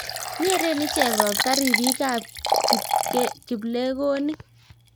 nyeren icheke robta ribikab kiplekonik